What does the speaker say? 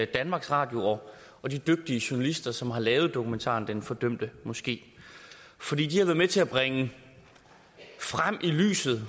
danmarks radio og de dygtige journalister som har lavet dokumentaren den fordømte moske for de har været med til at bringe frem i lyset